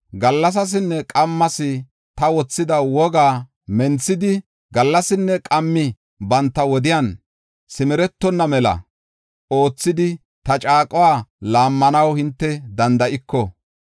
Gallasasinne qammas ta wothida wogaa menthidi, gallasinne qammi banta wodiyan simeretonna mela oothidi ta caaquwa laammanaw hinte danda7iko,